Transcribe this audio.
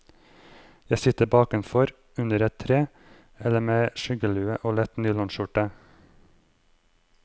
Jeg sitter bakenfor, under et tre, eller med skyggelue og lett nylonskjorte.